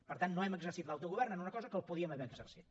per tant no hem exercit l’autogovern en una cosa en què el podíem haver exercit